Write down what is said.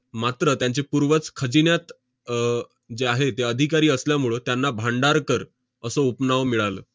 मात्र त्यांचे पूर्वज खजिन्यात अह जे आहे, ते अधिकारी असल्यामुळं त्यांना भांडारकर असं उपनाव मिळालं.